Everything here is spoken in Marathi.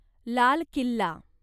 लाल किल्ला